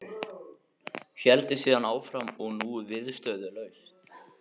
Héldi síðan áfram og nú viðstöðulaust